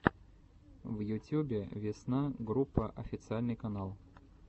в ютюбе весна группа официальный канал